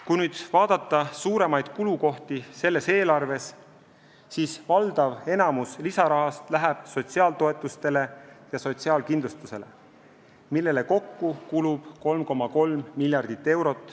Kui vaadata suuremaid kulukohti selles eelarves, siis valdav enamik lisarahast läheb sotsiaaltoetusteks ja sotsiaalkindlustuseks, millele kokku kulub 3,3 miljardit eurot.